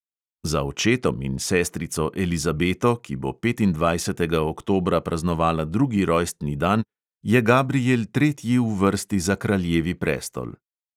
Za očetom in sestrico elizabeto, ki bo petindvajsetega oktobra praznovala drugi rojstni dan, je gabriel tretji v vrsti za kraljevi prestol.